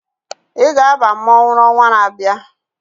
Ị ga-aba mmọnwụ n'ọnwa na-abịa!